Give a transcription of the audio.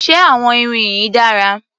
Ṣé àwọn irin yìí dára?